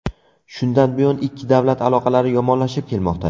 Shundan buyon ikki davlat aloqalari yomonlashib kelmoqda.